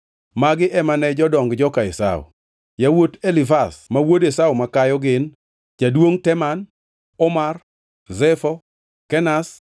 Magi ema ne jodong joka Esau: Yawuot Elifaz ma wuod Esau makayo gin: Jaduongʼ Teman, Omar, Zefo, Kenaz,